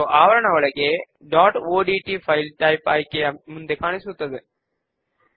joined fields ను తీసుకోండి